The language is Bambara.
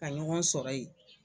Ka ɲɔgɔn sɔrɔ ye